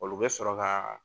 Olu bɛ sɔrɔ ka